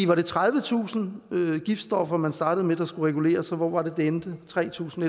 var tredivetusind giftstoffer man startede med skulle reguleres og hvor var det det endte med tre tusind